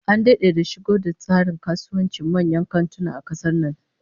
An dade da shigo da tsarin kasuwancin manyan kantuna a kasar nan